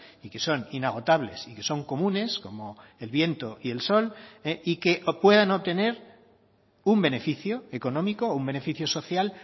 y que son inagotables y que son comunes como el viento y el sol y que puedan obtener un beneficio económico o un beneficio social